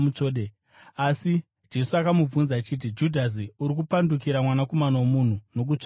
asi Jesu akamubvunza akati, “Judhasi, uri kupandukira Mwanakomana woMunhu nokutsvoda here?”